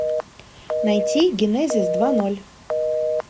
найти генезис два ноль